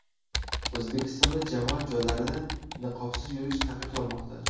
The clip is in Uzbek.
O‘zbekistonda jamoat joylarida niqobsiz yurish taqiqlanmoqda.